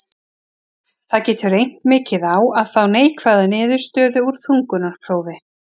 Það getur reynt mikið á að fá neikvæða niðurstöðu úr þungunarprófi.